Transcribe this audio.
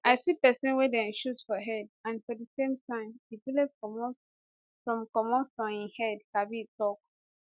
i see pesin wey dem shoot for head and for di same time di bullet comot from comot from im head kabir tok